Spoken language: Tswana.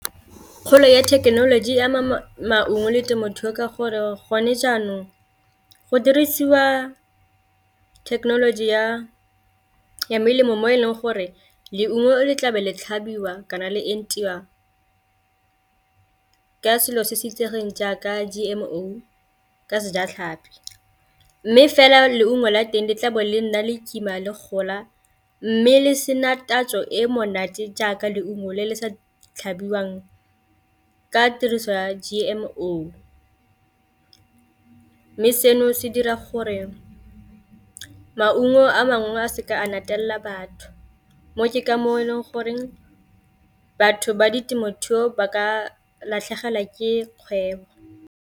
Kgolo ya thekenoloji maungo le temothuo ke gore gone jaanong go dirisiwa thekenoloji ya melemo mo e leng gore leungo le tlabe le tlhabiwa kana le entiwa ka selo se se itsegeng jaaka G_M_O ka sejatlhapi, mme fela leungo la teng di tlabo le nna le kima le gola mme le sena tatso e monate jaaka leungo le le sa tlhabiwang ka tiriso ya G_M_O. Mme seno se dira gore maungo a mangwe a seka a natefelela batho mo ke ka moo e leng goreng batho ba di temothuo ba ka latlhegelwa ke kgwebo.